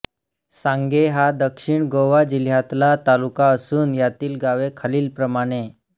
सांगे हा दक्षिण गोवा जिल्ह्यातला तालुका असून यातील गावे खालीलप्रमाणे